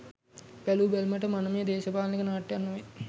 බැලූ බැල්මට මනමේ දේශපාලනික නාට්‍යයක් නොවේ.